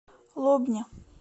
лобня